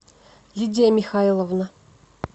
лидия михайловна